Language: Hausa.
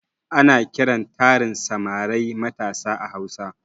Ana kiran tarin samarai matasa a hausa